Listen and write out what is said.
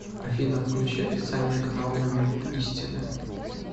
афина включи официальный канал момент истины